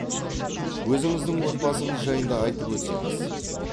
өзіңіздің отбасыңыз жайында айтып өтсеңіз